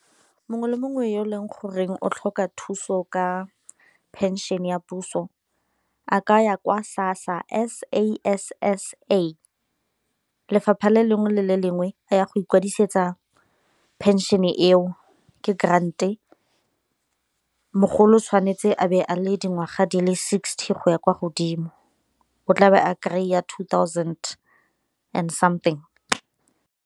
Mongwe le mongwe yo e leng goreng o tlhoka thuso ka phenšene ya puso a ka ya kwa SASSA, S_A_S_S_A lefapha le lengwe le le lengwe a ya go ikwadisetsa pension eo, ke grand e mogolo o tshwanetse a be a le dingwaga di le sixty go ya kwa godimo o tlabe a kry-a two thousand and something.